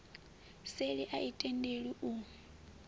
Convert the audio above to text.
seli a i tendelwi u